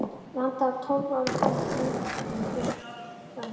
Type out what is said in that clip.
landi af tólf ára gömlum undrabörnum í húsgagnasmíði.